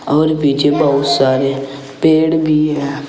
और पीछे बहुत सारे पेड़ भी हैं।